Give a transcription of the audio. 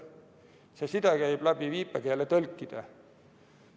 See side käib läbi viipekeeletõlkide.